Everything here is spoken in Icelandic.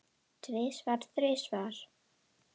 Tvisvar, þrisvar?